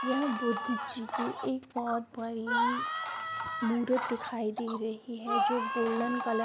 यह बुद्ध जी की एक बहुत बड़ी मूरत दिखाई दे रही है जो गोल्डन कलर --